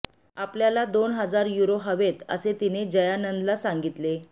आपल्याला दोन हजार युरो हवेत असे तिने जयानंदला सांगितले